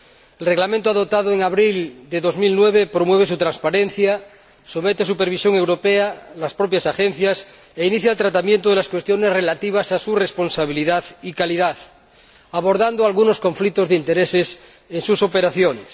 El Reglamento adoptado en abril de 2009 promueve su transparencia, somete a supervisión europea a las propias agencias e inicia el tratamiento de las cuestiones relativas a su responsabilidad y calidad, abordando algunos conflictos de intereses en sus operaciones.